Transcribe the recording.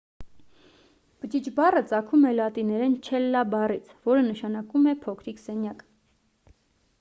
բջիջ բառը ծագում է լատիներեն չելլա բառից որը նշանակում է փոքրիկ սենյակ